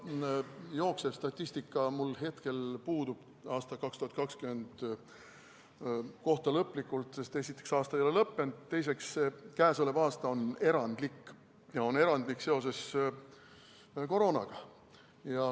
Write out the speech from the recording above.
No see jooksev statistika mul hetkel lõplikult 2020. aasta kohta puudub, sest esiteks, aasta ei ole lõppenud, teiseks, käesolev aasta on erandlik ja on erandlik seoses koroonaga.